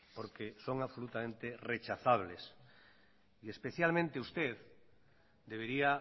porque son absolutamente rechazables y especialmente usted debería